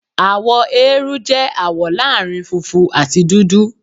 Àwọ eérú jẹ́ àwọ̀ láàrin funfun àti dúdú.